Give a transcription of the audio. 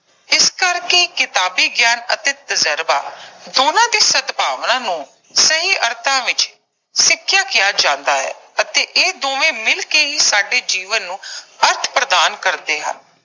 ਇਸ ਕਰਕੇ ਕਿਤਾਬੀ ਗਿਆਨ ਅਤੇ ਤਜਰਬਾ ਦੋਨਾਂ ਦੇ ਸਦਭਾਵਨਾ ਨੂੰ ਸਹੀ ਅਰਥਾਂ ਵਿੱਚ ਸਿੱਖਿਆ ਕਿਹਾ ਜਾਂਦਾ ਹੈ ਅਤੇ ਇਹ ਦੋਵੇਂ ਮਿਲ ਕੇ ਹੀ ਸਾਡੇ ਜੀਵਨ ਨੂੰ ਅਰਥ ਪ੍ਰਦਾਨ ਕਰਦੇ ਹਨ।